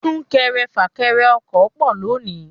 Súnkẹrẹ fà kẹrẹ ọkọ̀ pọ̀ lónìí.